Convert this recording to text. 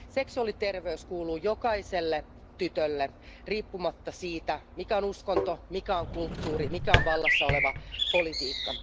Seksuaaliterveys kuuluu jokaiselle tytölle riippumatta siitä, mikä on uskonto, mikä on kulttuuri, mikä on vallassa oleva politiikka.